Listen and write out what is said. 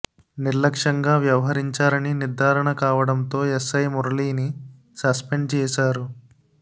నిర్లక్ష్యంగా వ్యవహరించారని నిర్ధారణ కావడంతో ఎస్ఐ మురళీని సస్పెండ్ చేశారు